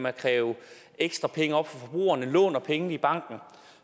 at kræve ekstra penge op fra forbrugerne låner pengene i banken